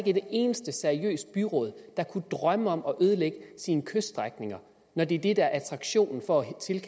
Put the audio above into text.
et eneste seriøst byråd der kunne drømme om at ødelægge sin kyststrækning når det det er attraktionen for